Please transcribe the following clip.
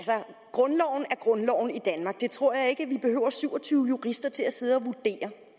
grundloven er grundloven i danmark det tror jeg ikke at vi behøver syv og tyve jurister til at sidde at vurdere